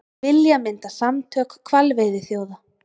Vilja mynda samtök hvalveiðiþjóða